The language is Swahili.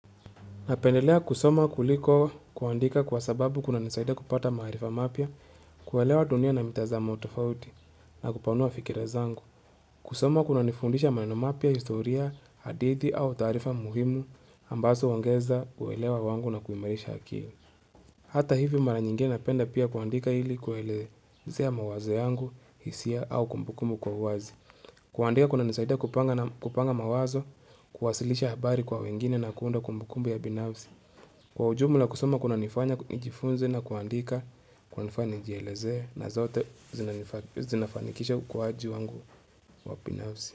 Napendelea kusoma kuliko kuandika kwa sababu kuna nisaida kupata maarifa mapya, kuelewa dunia na mitazamo tofauti na kupanua fikira zangu. Kusoma kunanifundisha maneno mapya, historia, hadithi au taarifa muhimu ambazo huongeza kuelewa wangu na kuimarisha akili. Hata hivo mara nyingine napenda pia kuandika ili kuelezea mawazo yangu, hisia au kumbukumbu kwa uwazi. Kuandika kunanisaida kupanga mawazo, kuwasilisha habari kwa wengine na kuunda kumbukumbu ya binavsi. Kwa ujumla kusoma kunanifanya, nijifunze na kuandika, kunanifanya, nijielezee na zote zinafanikisha ukuaji wangu wa binafsi.